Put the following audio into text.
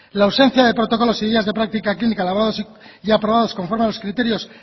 la ausencia de protocolos y guías de práctica clínica elaborados y aprobados conforme a los criterios